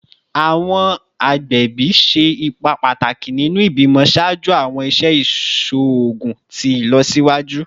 Awọn agbẹbi ṣe ipa pataki ninu ibimọ ṣaaju awọn iṣẹ iṣoogun ti ilọsiwaju